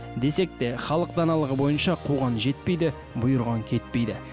десек те халық даналығы бойынша қуған жетпейді бұйырған кетпейді